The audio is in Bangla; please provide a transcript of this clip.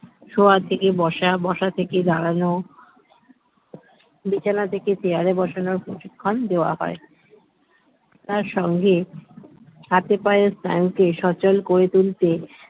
শোয়া থেকে বসা বসা থেকে দাঁড়ানো বিছানা থেকে chair রে বসানোর প্রশিক্ষণ দেওয়া হয় তার সঙ্গে হাতে পায়ে স্নায়ুকে সচল করে তুলতে